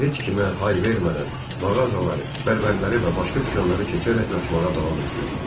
Ancaq o, heç kimə hay vermədən mağazaları, bərbərləri və başqa dükanları keçərək qaçmağa davam edirdi.